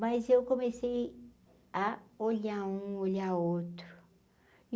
Mas eu comecei a olhar um, olhar outro.